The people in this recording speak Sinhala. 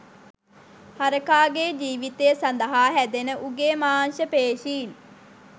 හරකාගේ ජීවිතය සඳහා හැදෙන උගේ මාංශ පේශීන්